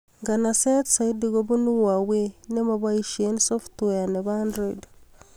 Nganseet zaidi kobun huawei ne mapoishee softweait ab android